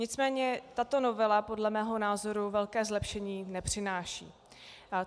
Nicméně tato novela podle mého názoru velké zlepšení nepřináší.